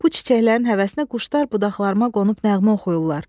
Bu çiçəklərin həvəsinə quşlar budaqlarıma qonub nəğmə oxuyurlar.